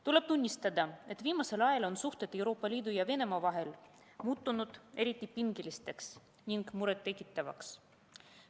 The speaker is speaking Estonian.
Tuleb tunnistada, et viimasel ajal on suhted Euroopa Liidu ja Venemaa vahel muutunud eriti pingeliseks ning muret tekitavaks.